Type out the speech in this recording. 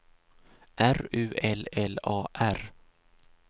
R U L L A R